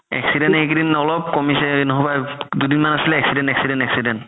accident এই কেইদিন অলপ কমিছে নহ'বা দুদিন মান আছিলে accident accident accident